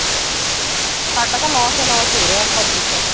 ਸਾਡਾ ਤਾਂ lose ਹੀ lose ਹੋ ਰਿਹਾ public ਦਾ ਤਾਂ